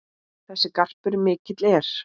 Þessi garpur mikill er.